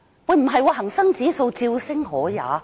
但恒生指數竟然照升可也。